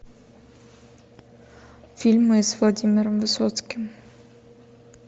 фильмы с владимиром высоцким